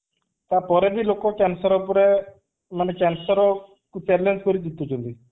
ତା ପରେ ବି ଲୋକ cancer ଉପରେ ମାନେ cancer କୁ payment କରିକି ଜିତୁଛନ୍ତି